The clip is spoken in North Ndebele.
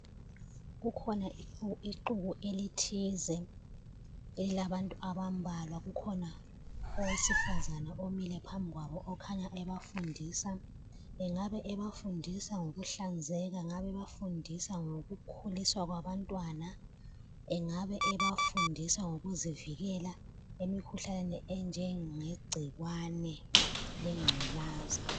Kukhona ixuku elithize lilabantu abambalwa kukhona owesifazana omile phambi kwabo ekhanya ebafundisa, engabe ebafundisa ngokuhlanzeka engabe ebafundisa ngokukhuliswa kwabantwana engabe ebafundisa ngokuzivikela emikhuhlaneni enjengegcikwane lengculaza.